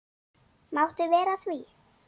Máttu vera að því?